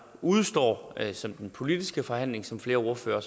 udestår som den politiske forhandling som flere ordførere